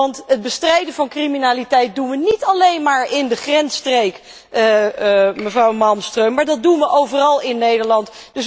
Want het bestrijden van criminaliteit doen wij niet alleen maar in de grensstreek, mevrouw Malmström, maar dat doen wij overal in Nederland.